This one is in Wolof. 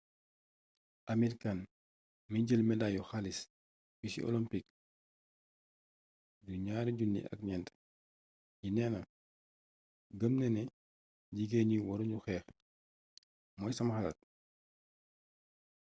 amir khan mi jël medaayu xaalis bi ci olimpik yu 2004 yi neena gëm naa ne jigéen ñi waru ñu xeex mooy sama xalaat